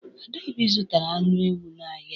Adaobi zụtara anụ ewu n'ahịa.